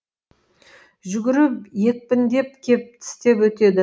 жүгіріп екпіндеп кеп тістеп өтеді